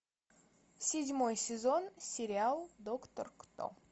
седьмой сезон сериал доктор кто